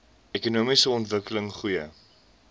ekonomiese ontwikkeling goeie